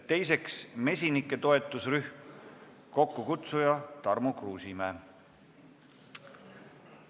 Teiseks, mesinike toetusrühm, kokkukutsuja Tarmo Kruusimäe.